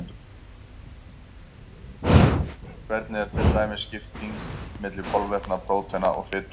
Hvernig er til dæmis skiptingin milli kolvetna, prótína og fitu?